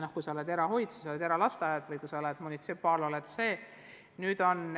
Kui on erahoid, siis see on sama mis eralasteaed, või kui on munitsipaalasutus, siis on see.